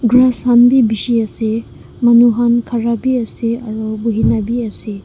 sun bhi bisi ase manu khan khara bhi ase aru bohe kina bhi ase.